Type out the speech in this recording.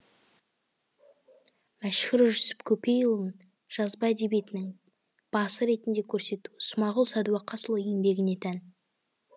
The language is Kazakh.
мәшһүр жүсіп көпейұлын жазба әдебиетінің басы ретінде көрсету смағұл сәдуақасұлы еңбегіне тән